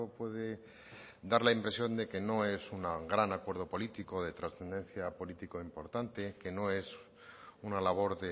puede dar la impresión de que no es un gran acuerdo político de trascendencia política importante que no es una labor